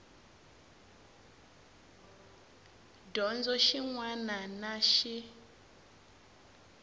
dyondzo xin wana na xin